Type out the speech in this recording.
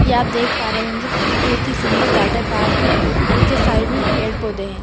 यह आप देख रहे होंगे एक बहुत ही सुंदर वॉटर पार्क है जिसके साइड में पेड़-पौधे है।